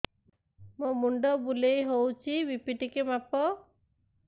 ମୋ ମୁଣ୍ଡ ବୁଲେଇ ହଉଚି ବି.ପି ଟିକେ ମାପ